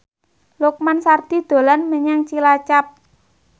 Lukman Sardi dolan menyang Cilacap